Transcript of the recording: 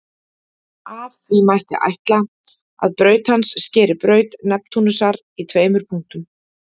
af því mætti ætla að braut hans skeri braut neptúnusar í tveimur punktum